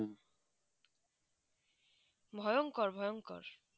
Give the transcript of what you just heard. ভয়ঙ্কর ভয়ঙ্কর